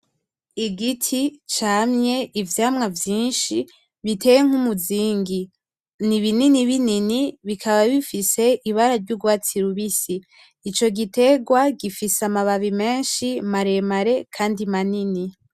Igiti camye ivyamwa vyinshi biteye nkumuzingi nibinini binini bikaba bifise ibara ryurwatsi rubisi icogiterwa gifise amababi menshi maremare Kandi manini .